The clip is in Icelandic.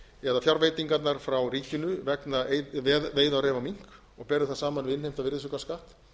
eða fjárveitingarnar frá ríkinu vegna veiða á ref og mink og berum það saman við innheimtan virðisaukaskatt